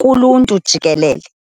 kuluntu jikelele.